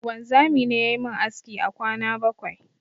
Wanzami ne yayi mun aski a kwana bakwai